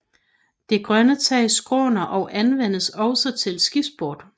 Det grønne tag skråner og anvendes også til skisport